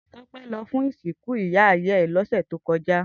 Tope lò fún isinkú ìyá ìyá è lòsè tókòjá